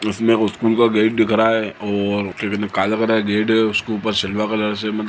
इसमें स्कूल का गेट दिख रहा है और क्या कहते काले कलर गेट है उसके ऊपर सिल्वर कलर से मतलब--